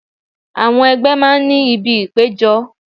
Àwọn ẹgbẹ́ máa ń ní ibi ìpéjọ.